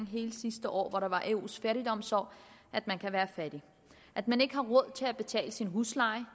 hele sidste år hvor det var eus fattigdomsår at man kan være fattig at man ikke har råd til at betale sin husleje